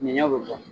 Ɲɛnɲɛ bɛ bɔ